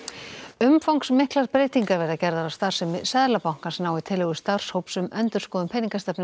umfangsmiklar breytingar verða gerðar á starfsemi Seðlabankans nái tillögur starfshóps um endurskoðun peningastefnu